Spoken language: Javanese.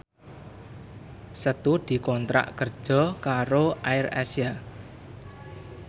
Setu dikontrak kerja karo AirAsia